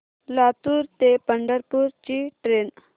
लातूर ते पंढरपूर ची ट्रेन